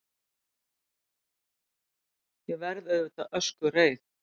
Ég verð auðvitað öskureið.